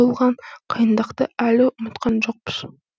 болған қиындықты әлі ұмытқан жоқпыз